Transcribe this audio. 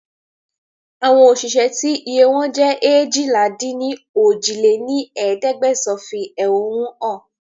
Àwọn òṣìṣẹ́ tí iye wọn jẹ́ eéjìlá-dín-ní-ojì lé ní ẹ̀ẹ́dẹ́gbẹ́sán fi ehonu hàn